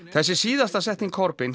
þessi síðasta setning